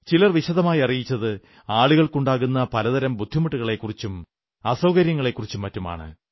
ചിലർ വിശദമായി അറിയിച്ചത് ആളുകൾക്കുണ്ടാകുന്ന പല തരം ബുദ്ധിമുട്ടുകളെക്കുറിച്ചും അസൌകര്യങ്ങളെക്കുറിച്ചും മറ്റുമാണ്